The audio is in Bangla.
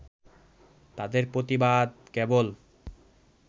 তাঁদের প্রতিবাদ কেবল